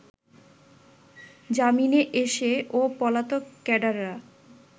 জামিনে এসে ও পলাতক ক্যাডাররা